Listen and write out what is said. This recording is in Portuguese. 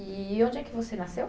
E onde é que você nasceu?